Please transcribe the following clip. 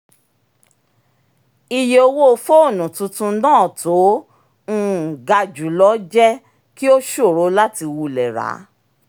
ìye owó fóònù tuntun náà tó um ga jù lọ jẹ́ kí ó ṣòro láti wulẹ̀ ra á